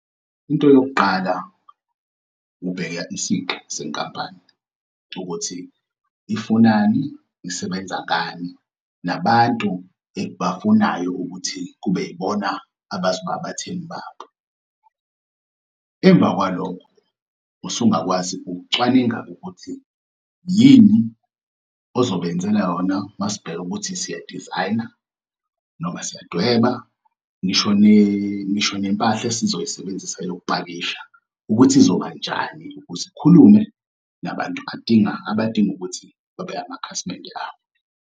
Into yokuqala, ubheka isiqi senkampani ukuthi ifunani, isebenza ngani, nabantu ebafunayo ukuthi kube yibona abazoba abathengi babo. Emva kwalokho, usungakwazi ukucwaninga-ke ukuthi yini ozobenzela yona uma sibheka ukuthi siyadizayina noma siyadweba ngisho nempahla esizoyisebenzisa ukupakisha ukuthi izobanjani ukuze ikhulume nabantu abadinga ukuthi babe amakhasimende abo.